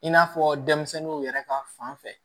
I n'a fɔ denmisɛnninw yɛrɛ ka fan fɛ